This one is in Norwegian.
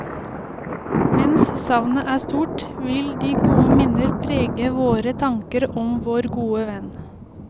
Mens savnet er stort, vil de gode minner prege vår tanker om vår gode venn.